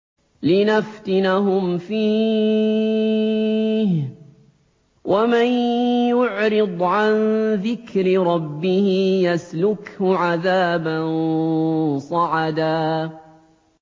لِّنَفْتِنَهُمْ فِيهِ ۚ وَمَن يُعْرِضْ عَن ذِكْرِ رَبِّهِ يَسْلُكْهُ عَذَابًا صَعَدًا